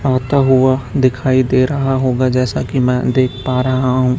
आता हुआ दिखाई दे रहा होगा जैसा कि मैं देख पा रहा हूं--